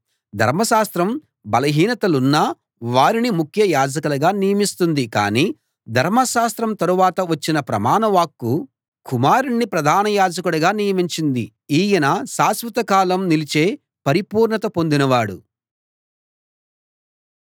ధర్మశాస్త్రం బలహీనతలున్న వారిని ముఖ్య యాజకులుగా నియమిస్తుంది కాని ధర్మశాస్త్రం తరువాత వచ్చిన ప్రమాణ వాక్కు కుమారుణ్ణి ప్రధాన యాజకుడిగా నియమించింది ఈయన శాశ్వతకాలం నిలిచే పరిపూర్ణత పొందినవాడు